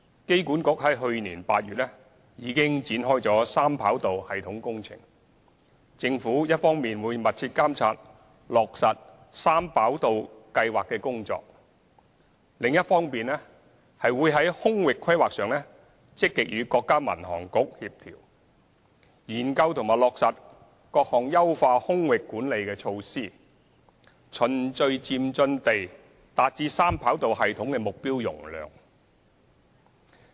機管局於去年8月展開三跑道系統工程，政府一方面會密切監察落實三跑道計劃的工作，另一方面會在空域規劃上積極與國家民航局協調，研究和落實各項優化空域管理的措施，循序漸進地達至三跑道系統的目標容量。